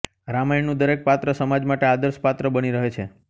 રામાયણનું દરેક પાત્ર સમાજ માટે આદર્શપાત્ર બની રહે છે